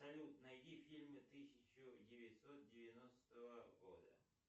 салют найди фильмы тысяча девятьсот девяностого года